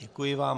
Děkuji vám.